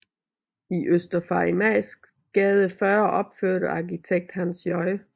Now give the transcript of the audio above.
I Øster Farimagsgade 40 opførte arkitekt Hans J